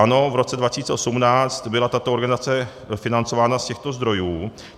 Ano, v roce 2018 byla tato organizace financována z těchto zdrojů.